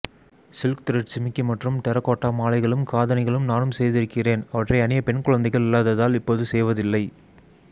silk thread ஜிமிக்கி மற்றும் terracotta மாலைகளும் காடணிகளும் நானும் செய்திருக்கிறேன் அவற்றை அணிய பெண்குழந்தைகள் இல்லாததால் இப்போது செய்வதுஇல்லை